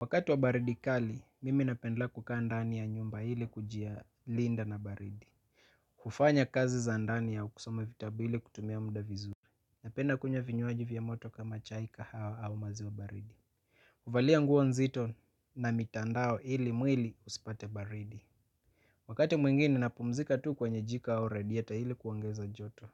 Wakati wa baridi kali, mimi napendelea kukaa ndani ya nyumba ili kuji linda na baridi. Kufanya kazi za ndani au kusoma vitabu ili kutumia muda vizuri. Napenda kunywa vinywaji vya moto kama chaika hawa au mazi wa baridi. Kuvalia nguo nzito na mitandao hili mwili usipate baridi. Wakati mwingine napumzika tu kwenye jiko au radieta hili kuangeza joto.